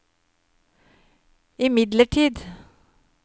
imidlertid